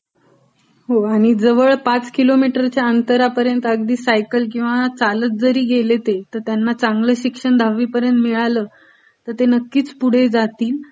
हो जवळ किलोमीटरच्या अंतरापर्यंत अगदी सायकल घेऊन किंवा चालंत जरी गेले ते ती त्यांना चांगल शिक्षण दहावीपर्यंत मिळालं तर नक्कीच ते पुढे जातील.